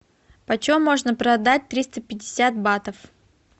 почем можно продать триста пятьдесят батов